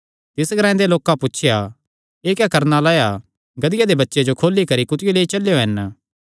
तिस ग्रांऐ दे लोकां पुछया एह़ क्या करणा लाया गधिया दे बच्चे जो खोली करी कुत्थियो लेई चलेयो हन